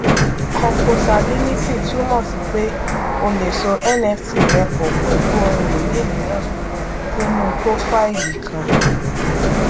composability túmọ sí pé o lè so nft rẹ pọ pẹlú ohun ìní mìíràn sínú púrófáìlì kan